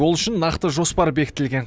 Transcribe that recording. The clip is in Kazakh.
ол үшін нақты жоспар бекітілген